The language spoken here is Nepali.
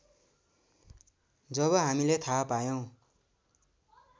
जब हामीले थाहा पायौं